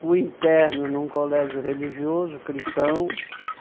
Fui interno num colégio religioso, cristão.